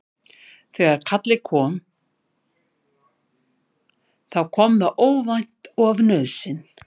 Þegar kallið kom þá kom það óvænt og af nauðsyn.